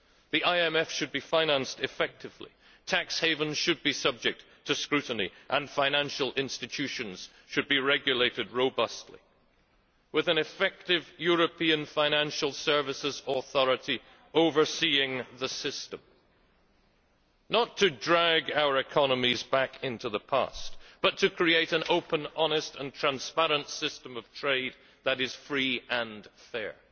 The IMF should be financed effectively, tax havens should be subject to scrutiny, and financial institutions should be regulated robustly, with an effective European financial services authority overseeing the system not to drag our economies back into the past, but to create an open, honest and transparent system of trade that is free and fair.